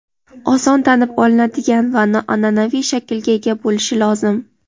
oson tanib olinadigan va noanʼanaviy shaklga ega bo‘lishi lozim.